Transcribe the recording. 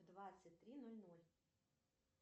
двадцать три ноль ноль